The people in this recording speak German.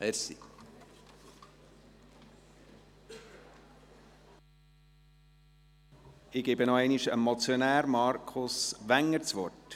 Ich erteile nochmals dem Motionär, Markus Wenger, das Wort.